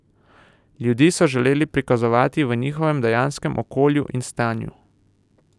Ljudi so želeli prikazovati v njihovem dejanskem okolju in stanju.